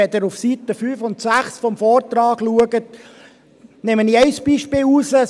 Wenn Sie auf den Seiten 5 und 6 des Vortrags schauen, nehme ich ein Beispiel heraus.